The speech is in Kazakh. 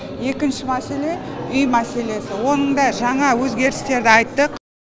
екінші мәселе үй мәселесі оның да жаңа өзгерістерді айттық